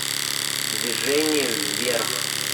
движение вверх